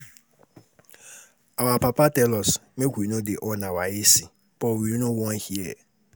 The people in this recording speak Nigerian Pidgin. Our papa tell us make we no dey on our A C but we no wan hear